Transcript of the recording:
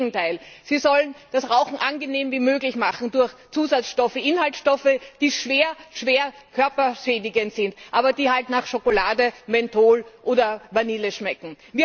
Im Gegenteil sie sollen das Rauchen so angenehm wie möglich machen durch Zusatzstoffe, Inhaltsstoffe, die schwer körperschädigend sind, aber nach Schokolade, Menthol oder Vanille schmecken.